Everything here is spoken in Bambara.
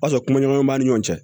O y'a sɔrɔ kumaɲɔgɔn b'a ni ɲɔgɔn cɛ